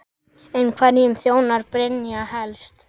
En hverjum þjónar Brynja helst?